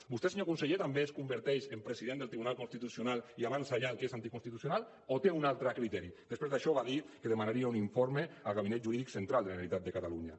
vostè senyor conseller també es converteix en president del tribunal constitucional i avança ja el que és anticonstitucional o té un altre criteri després d’això va dir que demanaria un informe al gabinet jurídic central de la generalitat de catalunya